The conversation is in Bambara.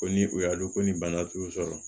Ko ni u y'a dɔn ko ni bana t'u sɔrɔ